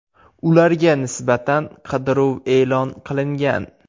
Ularga nisbatan qidiruv e’lon qilingan.